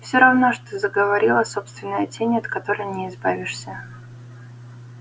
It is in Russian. всё равно что заговорила собственная тень от которой не избавишься